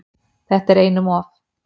"""Þetta er einum of,"""